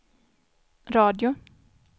radio